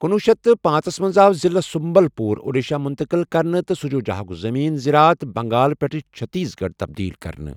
کُنوُہ شیٚتھ تہٕ پانژھ ژس مَنٛز آو ضِلعہ سُمبَل پوٗر اوڈیٖشَہ مٗتقل كرنہٕ تہٕ سَجوٗجاہُک زٔمیٖن زِرات بَنٛگال پٮ۪ٹھ چٕھتیٖس گَڑھ تَبدیٖل كرنہٕ ۔